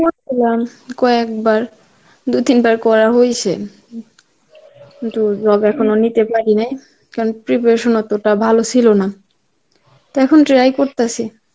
কয়েকবার, দু তিনবার করা হইসে নিতে পারি নাই, কারণ preparation অতটা ভালো ছিল না. তা এখন try করতাসি.